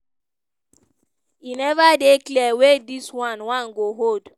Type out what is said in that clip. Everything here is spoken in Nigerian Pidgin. e neva dey clear wia dis one one go hold.